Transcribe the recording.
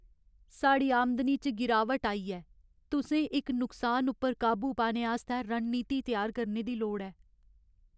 साढ़ी आमदनी च गिरावट आई ऐ! तुसें इस नुकसान उप्पर काबू पाने आस्तै रणनीति त्यार करने दी लोड़ ऐ।